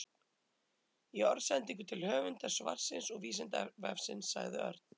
Í orðsendingu til höfundar svarsins og Vísindavefsins sagði Örn: